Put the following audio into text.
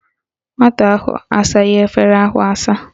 Nwata ahụ asaghị efere ahụ asa